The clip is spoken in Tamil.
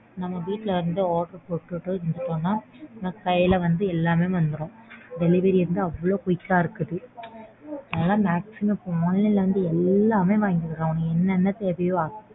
நம்ம வீட்ல இருந்து order போட்டுட்டு விட்டோம்னா நம்ம கையில வந்து எல்லாமே வந்துரும். Delivery வந்து அவ்ளோ quick ஆ இருக்குது. அதனால maximum online ல இருந்து எல்லாமே வாங்கிக்கலாம் உனக்கு என்னென்ன தேவையோ